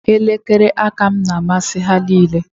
Elekere aka m na-amasị ha niile